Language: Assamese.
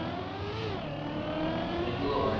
সেইটো হয়